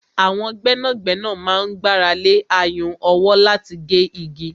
Àwọn gbẹ́nàgbẹ́nà máa ń gbára lé ayùn ọwọ́ láti gé igi.